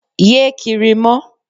Ye kiri mọ.